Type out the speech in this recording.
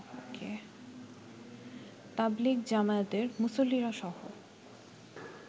তাবলীগ জামায়াতের মুসল্লিরাসহ